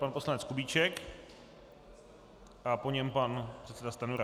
Pan poslanec Kubíček a po něm pan předseda Stanjura.